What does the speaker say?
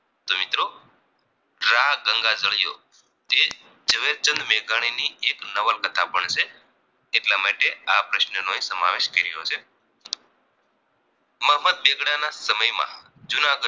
ઝવેરચંદ મેઘાણી ની એક નવલ કથા પણ છે એટલા માટે આ પ્રશ્ન નો સમાવેશ કર્યો છે મોહમ્મદ બેગડાના સમય માં જૂનાગઠ